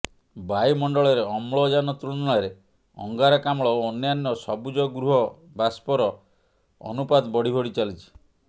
ବାୟୁ ମଣ୍ଡଳରେ ଅମ୍ଳଯାନ ତୁଳନାରେ ଅଙ୍ଗାରକାମ୍ଳ ଓ ଅନ୍ୟାନ୍ୟ ସବୁଜଗୃହ ବାଷ୍ଫର ଅନୁପାତ ବଢ଼ି ବଢ଼ି ଚାଲିଛି